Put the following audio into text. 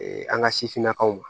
an ka sifinnakaw ma